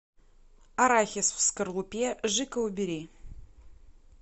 арахис в скорлупе жико убери